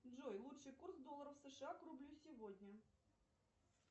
джой лучший курс доллара сша к рублю сегодня